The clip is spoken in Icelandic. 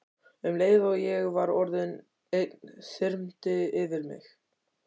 Um leið og ég var orðin ein þyrmdi yfir mig.